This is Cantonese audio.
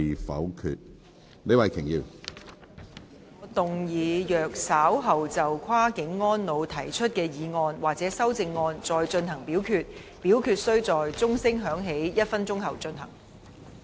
主席，我動議若稍後就"跨境安老"所提出的議案或修正案再進行點名表決，表決須在鐘聲響起1分鐘後進行。